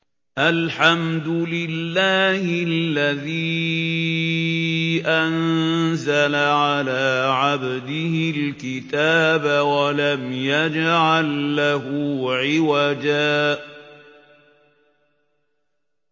الْحَمْدُ لِلَّهِ الَّذِي أَنزَلَ عَلَىٰ عَبْدِهِ الْكِتَابَ وَلَمْ يَجْعَل لَّهُ عِوَجًا ۜ